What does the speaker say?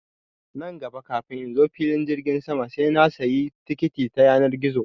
Nan gaba kafin in zo filin jirgin sama sai na sayi tikiti ta yanar gizo